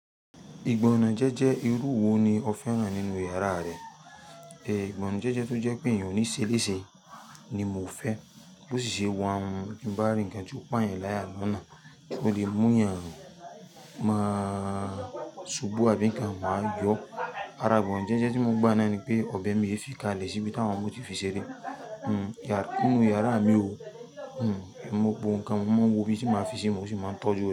Ìgbọnàjẹ́jẹ́ irú wo ni o fẹ́ràn nínú yàrá rẹ? Ẹ̀ ìgbọnàjẹ́jẹ́ tó jẹ́ pé èèyàn ò ní ṣe léṣe ni mo fẹ́. Bo sì ṣe wọ́n mú bí i bá rí ǹkan tí ó pà yẹn láya lọ́nà, ó lè mú èèyàn máa subú àbí ǹkan máa n yọ. Ara ìgbọnàjẹ́jẹ́ tí mo gbá náà ni pé ọ̀bẹ mi yóò fi kalẹ̀ sí ibi tí àwọn ọmọ ti fi ṣeré. Hmn nínú yàrá mi ò hmn mo gbó ǹkan, mo máa wo bí i ṣe màá fi ṣe, ó sì máa ń tọ́jú rẹ̀.